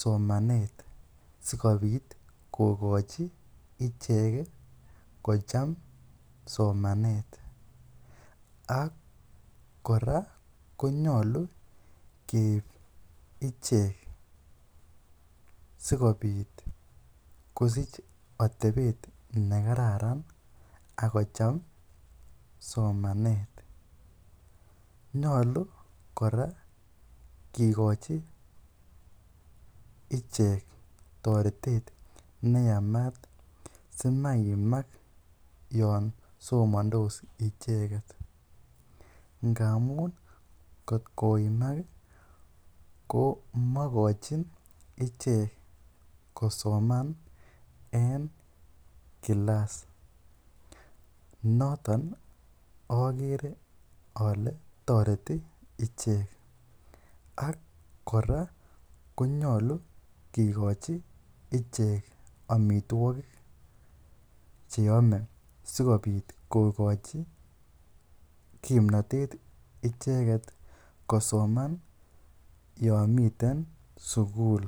somanet sikobit kokochi ichek kocham somanet ak kora konyolu keib ichek sikobit kosich atebet nekararan ak kocham somanet, nyolu kora kikochi ichek toretet neyamat simaimak yoon somondos icheket ngamun kot koimak ko mokochin ichek kosoman en kilaas, noton okere olee toreti ichek ak kora konyolu kikochi ichek amitwokik cheyome sikobit kokochi kimnotet icheket kosoman yomiten sukul.